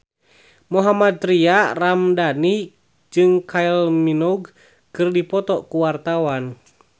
Mohammad Tria Ramadhani jeung Kylie Minogue keur dipoto ku wartawan